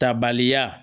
Tabaliya